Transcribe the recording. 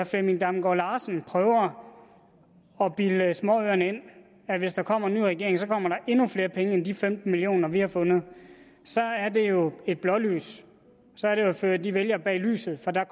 flemming damgaard larsen prøver at bilde småøerne ind at hvis der kommer en ny regering kommer der endnu flere penge end de femten million kr vi har fundet er det jo et blålys så er det at føre de vælgere bag lyset for der